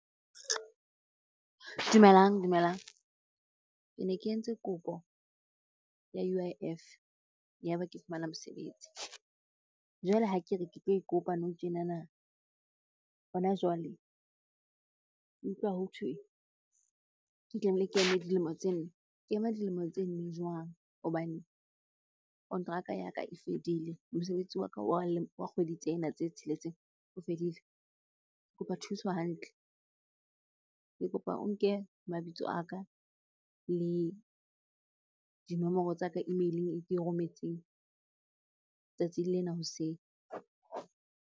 Dumelang, dumelang. Ke ne ke entse kopo ya U_I_F yaba ke fumana mosebetsi. Jwale ha ke re ke tlo e kopa nou tjenana, hona jwale, ke utlwa hothwe ke tlameile ke eme dilemo tse nne. Ke ema dilemo tse nne jwang? Hobane kontraka ya ka e fedile, mosebetsi wa ka wa kgwedi tsena tse tsheletseng o fedile. Ke kopa thuso hantle, ke kopa o nke mabitso a ka le dinomoro tsa ka email-ing e ke e rometseng tsatsing lena hoseng.